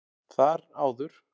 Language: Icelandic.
Þar áður